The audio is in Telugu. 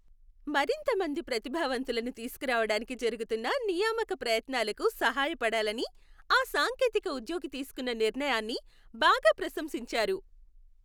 మరింత మంది ప్రతిభావంతులను తీసుకురావడానికి జరుగుతున్న నియామక ప్రయత్నాలకు సహాయపడాలని ఆ సాంకేతిక ఉద్యోగి తీసుకున్న నిర్ణయాన్ని బాగా ప్రశంసించారు.